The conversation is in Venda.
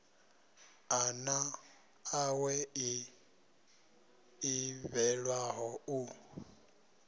ḓana ḽawe ḽi ḓivhelwaho u